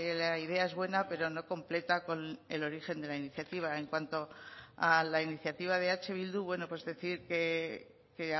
la idea es buena pero no completa con el origen de la iniciativa en cuanto a la iniciativa de eh bildu bueno pues decir que